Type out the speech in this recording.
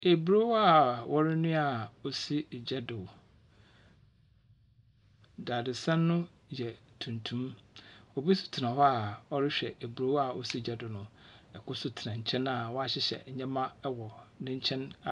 Eburow a wɔrenoa a osi egya do. Dadesɛn no yɛ tuntum. Obi so tsena hɔ a ɔrehwɛ eburow a osi gya do no. Ɛkor so tsena hɔ a wahyehyɛ ɛwɔ n'enkyɛn .